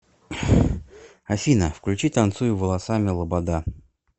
афина включи танцую волосами лобода